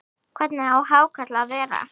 Hvernig á hákarl að vera?